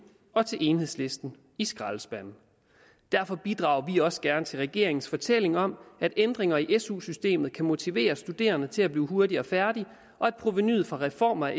og til enhedslisten i skraldespanden derfor bidrager vi også gerne til regeringens fortælling om at ændringer i su systemet kan motivere studerende til at blive hurtigere færdige og at provenuet fra reformer